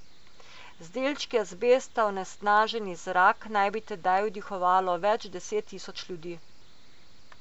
Z delčki azbesta onesnaženi zrak naj bi tedaj vdihavalo več deset tisoč ljudi.